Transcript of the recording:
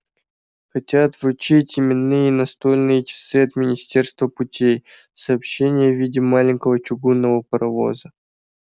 хотят вручить именные настольные часы от министерства путей сообщение в виде маленького чугунного паровоза